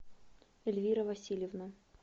эльвира васильевна